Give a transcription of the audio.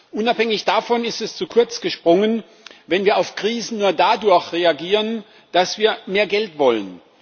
Unabhängig davon ist es zu kurz gesprungen, wenn wir auf Krisen nur dadurch reagieren, dass wir mehr Geld wollen.